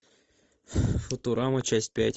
футурама часть пять